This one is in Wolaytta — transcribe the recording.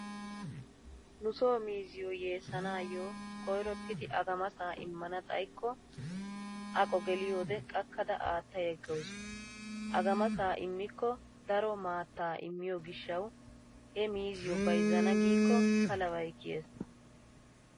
Nu soo miizziyoo yeessanaayyo koyrottidi agamasaa immana xayikko aqo geliyoodeee qakkada aatta yeggawusu. Agamasaa immikko daro maattaa iimiyoo gishsawu he miizziyo bayzzana giikko palabay kiyees.